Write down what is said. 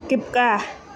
kipgaa.